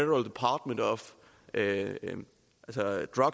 at redegøre